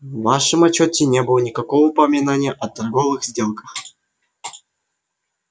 в вашем отчёте не было никакого упоминания о торговых сделках